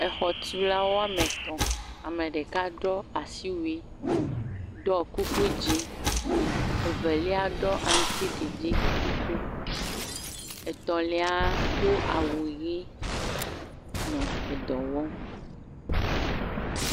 Xɔtulawo woame etɔ̃, ame ɖeka ɖɔ asiwui, ɖɔ kuku dzɛ̃, evelia ɖɔ aŋutiɖiɖi kuku, etɔ̃lia do awu ʋi nɔ dɔ wɔm.